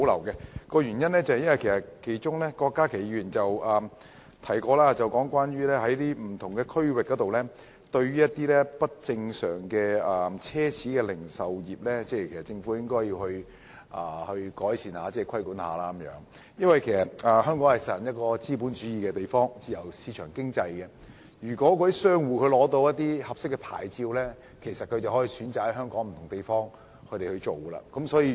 因為郭家麒議員曾經提到，對於不同區域若干不正常的奢侈零售業，政府應作出規管和改善情況，而香港既實行資本主義、自由市場經濟，只要商戶取得合適牌照，應可選擇在香港不同地方經營。